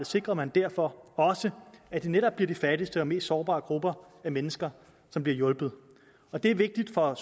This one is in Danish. sikrer man derfor også at det netop bliver de fattigste og mest sårbare grupper af mennesker som bliver hjulpet og det er vigtigt for